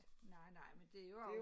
Nej nej men det jo også